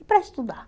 E para estudar?